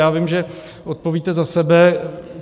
Já vím, že odpovíte za sebe.